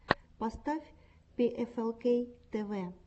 поставь пиэфэлкей тэвэ